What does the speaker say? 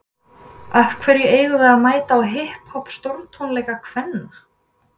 Af hverju eigum við að mæta á hipp hopp stórtónleika kvenna?